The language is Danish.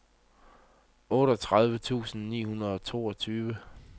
otteogtredive tusind ni hundrede og toogtyve